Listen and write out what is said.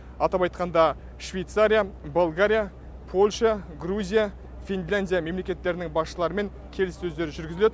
атап айтқанда швейцария болгария польша грузия финляндия мемлекеттерінің басшыларымен келіссөздер жүргізіледі